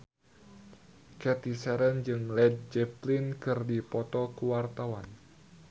Cathy Sharon jeung Led Zeppelin keur dipoto ku wartawan